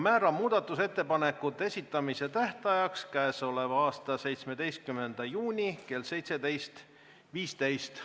Määran muudatusettepanekute esitamise tähtajaks k.a 17. juuni kell 17.15.